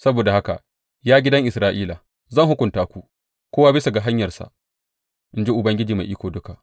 Saboda haka, ya gidan Isra’ila, zan hukunta ku, kowa bisa ga hanyarsa, in ji Ubangiji Mai Iko Duka.